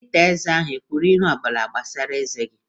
Dọkịta eze ahụ e kwuru ihe ọ bụla gbasara eze gị?